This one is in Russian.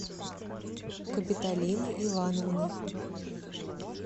капиталины ивановны